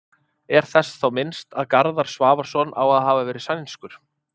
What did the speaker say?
er þess þá minnst að garðar svavarsson á að hafa verið sænskur